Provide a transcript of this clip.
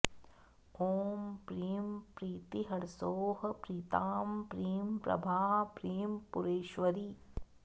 ॐ प्रीं प्रीतिर्हसौः प्रीतां प्रीं प्रभा प्रीं पुरेश्वरी